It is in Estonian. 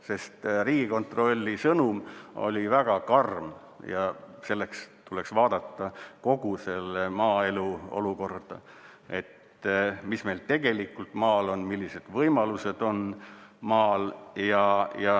Sest Riigikontrolli sõnum oli väga karm ja selleks tuleks vaadata kogu maaelu olukorda, mis meil tegelikult maal on, millised võimalused on maal.